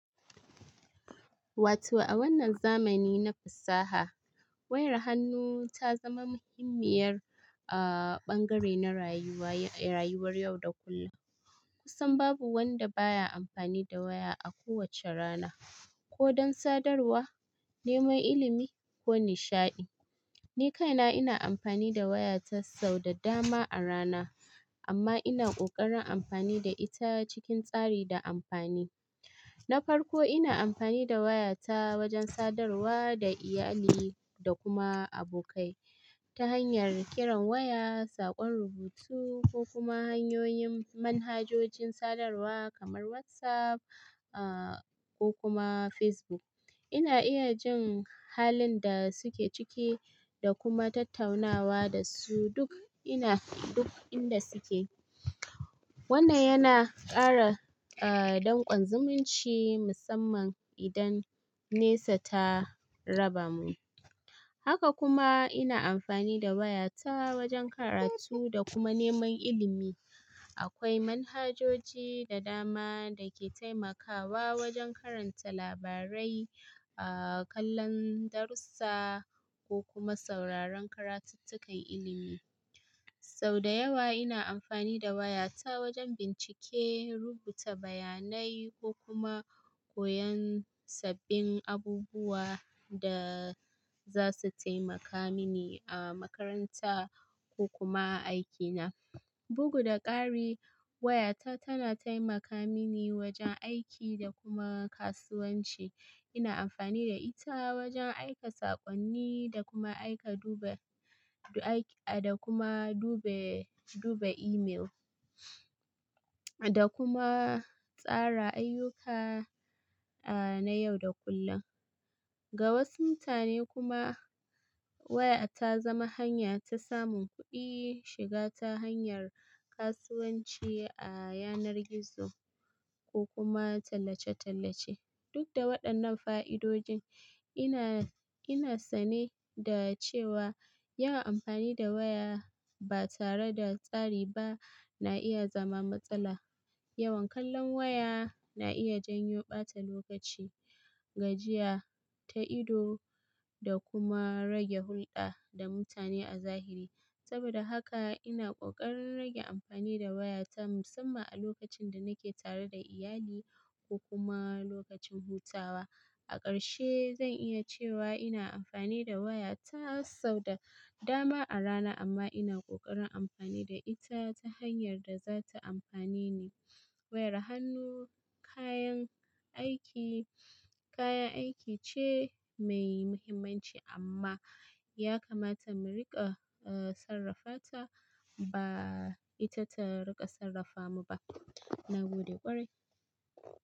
Wato a wannan zamani na fasaha, wayar hannu ta zama muhimmiyar, aa, bangare na rayuwar, rayuwar yau da kullum. Kusan babu wanda baya amfani da waya a kowace rana, ko don sadarwa, neman ilimi ko nishaɗi. Ni kaina ina amfani da wayata sau da dama a rana, amma ina ƙoƙarin amfani da ita cikin tsari da amfani. Na farko, ina amfani da wayata wajen sadarwa da iyali da kuma abokai ta hanyar kiran waya, saƙon rubutu ko kuma hanyoyin manhajojin sadarwa kamar WhatsApp, aa, ko kuma Facebook. Ina iya jin halin da suke ciki da kuma tattaunawa da su duk inda, duk inda suke. Wannan yana ƙara, aa, danƙon zumunci, musamman idan nesa ta raba mu. Haka kuma ina amfani da wayata wajen karatu da kuma neman ilimi. Akwai manhajoji da dama da ke taimakawa wajen karanta labarai, aa, kallon darsa ko kuma sauraron karatuttukan ilimi. Sau da yawa ina amfani da wayata wajen bincike, rubuta bayanai ko kuma koyon sabbin abubuwan da za su taimaka mini a makaranta ko kuma a aikina. Bugu da ƙari, wayata tana taimaka mini wajen aiki da kuma kasuwanci. Ina amfani da ita wajen aika saƙonni da kuma aika dube, da aiki, da kuma dube, dube imel da kuma tsara ayyuka, aa, na yau da kullun. Ga wasu mutane kuma waya ta zama hanya ta samun kuɗi, shiga ta hanyar kasuwanci a yanar gizo ko kuma tallace-tallace. Duk da waɗannan fa'idodin, ina, ina sane da cewa yawan amfani da waya ba tare da tsari ba na iya zama matsala. Yawan kallon waya na iya janyo ɓata lokaci, gajiya, ta'ido da kuma rage hulɗa da mutane a zahiri. Saboda haka ina ƙoƙarin rage amfani da wayata musamman a lokacin da nake tare da iyali ko kuma lokacin hutawa. A ƙarshe, zan iya cewa ina amfani da wayata sau da dama a rana amma ina ƙoƙarin amfani da ita ta hanyar da za ta amfane ni. Wayar hannu kayan aiki, kayan aiki ce mai muhimmanci amma ya kamata mu riƙa, aa, sarrafata ba ita ta riƙa sarrafa mu ba. Na gode ƙwarai.